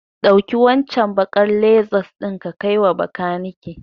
Ɗauki waccen baƙar Lexus ɗin ka kaiwa bakanike.